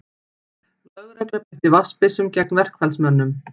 Lögregla beitti vatnsbyssum gegn verkfallsmönnum